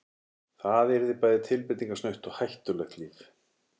Það yrði bæði tilbreytingarsnautt og hættulegt líf.